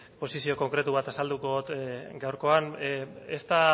posizio konkretu bat azalduko dut gaurkoan esta